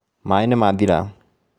Maaĩ nĩ mathira